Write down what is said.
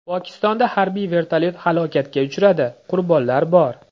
Pokistonda harbiy vertolyot halokatga uchradi, qurbonlar bor.